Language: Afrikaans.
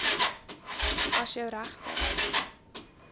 as jou regte